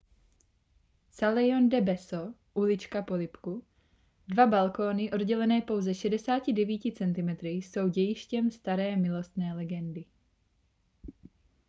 calejjon del beso ulička polibku. dva balkóny oddělené pouze 69 centimetry jsou dějištěm staré milostné legendy